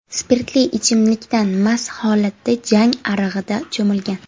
spirtli ichimlikdan mast holatda Jang arig‘ida cho‘milgan.